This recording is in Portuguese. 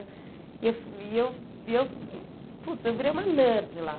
E eu e eu e eu... Putz, eu virei uma nerd lá.